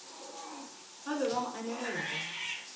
be ba mo anegela ka